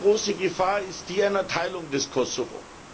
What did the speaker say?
Die erste große Gefahr ist die einer Teilung des Kosovo.